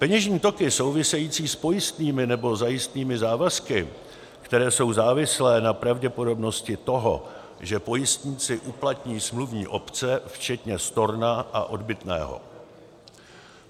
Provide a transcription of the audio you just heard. peněžní toky související s pojistnými nebo zajistnými závazky, které jsou závislé na pravděpodobnosti toho, že pojistníci uplatní smluvní opce, včetně storna a odbytného;